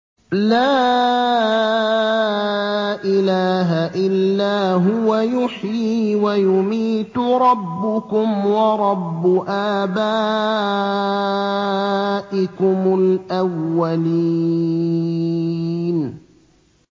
لَا إِلَٰهَ إِلَّا هُوَ يُحْيِي وَيُمِيتُ ۖ رَبُّكُمْ وَرَبُّ آبَائِكُمُ الْأَوَّلِينَ